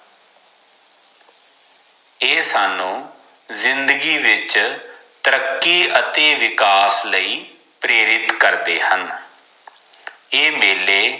ਏ ਸਾਨੂ ਜਿੰਦਗੀ ਵਿਚ ਤਰੱਕੀ ਅਤੇ ਵਿਕਾਸ ਲਈ ਪ੍ਰੇਰਿਤ ਕਰਦੇ ਹਨ ਏ ਮੇਲੇ